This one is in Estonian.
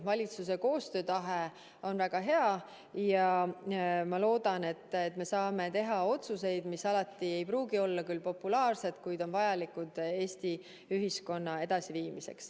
Valitsuse koostöötahe on väga hea ja ma loodan, et me saame teha otsuseid, mis alati ei pruugi olla küll populaarsed, kuid on vajalikud Eesti ühiskonna edasiviimiseks.